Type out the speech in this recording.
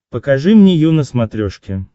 покажи мне ю на смотрешке